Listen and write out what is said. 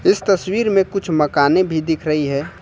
इस तस्वीर में कुछ मकाने भी दिख रही है।